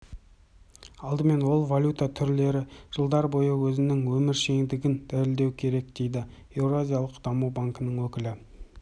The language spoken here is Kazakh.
алдымен ол валюта түрлері жылдар бойы өзінің өміршеңдігін дәлелдеуі керек дейді еуразиялық даму банкінің өкілі